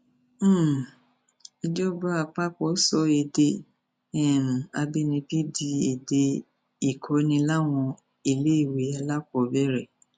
um ìjọba àpapọ sọ èdè um àbínibí di èdè ìkọni láwọn iléèwé alákọọbẹrẹ